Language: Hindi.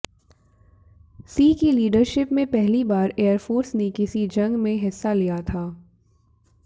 सिंह की लीडरशिप में पहली बार एयरफोर्स ने किसी जंग में हिस्सा लिया था